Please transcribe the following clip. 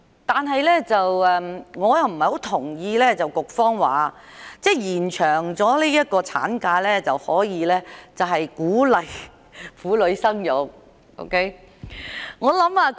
但是，我不太認同局方提出，延長產假可鼓勵婦女生育的說法。